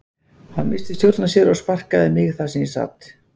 Hann missti stjórn á sér og sparkaði í mig þar sem ég sat.